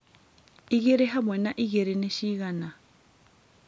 igĩrĩ hamwe na igĩrĩ ni cĩgana